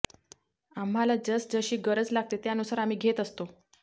आम्हांला जसजशी गरज लागते त्यानुसार आम्ही घेत असतो